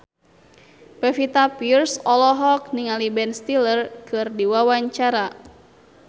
Pevita Pearce olohok ningali Ben Stiller keur diwawancara